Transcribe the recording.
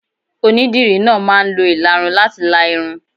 Onídìrí náà máa ń lo ìlarun láti la irun.